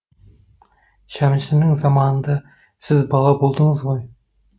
шәмшінің заманында сіз бала болдыңыз ғой